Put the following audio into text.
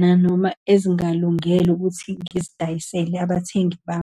nanoma ezingalungele ukuthi ngizidayisele abathengi bami.